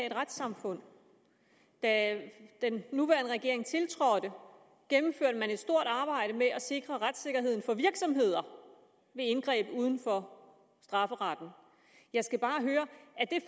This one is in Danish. et retssamfund da den nuværende regering tiltrådte gennemførte man et stort arbejde med at sikre retssikkerheden for virksomheder ved indgreb uden for strafferetten jeg skal bare høre